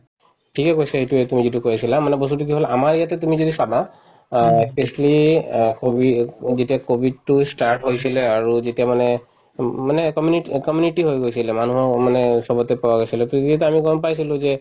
ঠিকে কৈছা এইটোয়ে তুমি যিটো কৈ আছিলা মানে বস্তুতো কি হল আমাৰ ইয়াতে তুমি যদি চাবা অ ই specially অ কভি যেতিয়া কভিডতো ই start হৈছিলে আৰু যেতিয়া মানে উম মানে comment community হৈ গৈছিলে মানুহক মানে চবতে পোৱা গৈছিলে to এইকেইটা আমি গম পাইছিলো যে